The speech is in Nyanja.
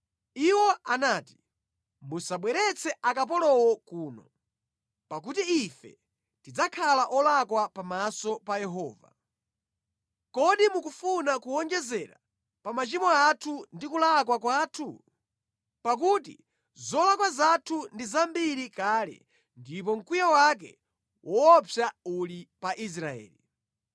Iwo anati, “Musabweretse akapolowo kuno, pakuti ife tidzakhala olakwa pamaso pa Yehova. Kodi mukufuna kuwonjezera pa machimo athu ndi kulakwa kwathu? Pakuti zolakwa zathu ndi zambiri kale ndipo mkwiyo wake woopsa uli pa Israeli.”